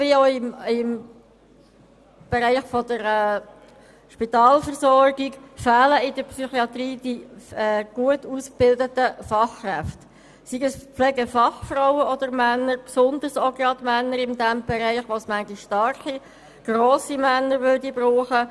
Wie in der Spitalversorgung fehlen auch in der Psychiatrie gut ausgebildete Fachkräfte, seien es Pflegefachfrauen oder Pflegefachmänner, in diesem Bereich insbesondere Männer, wo es bisweilen starke und grosse Männer braucht.